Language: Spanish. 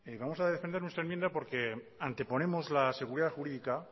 vamos a defender nuestra enmienda porque anteponemos la seguridad jurídica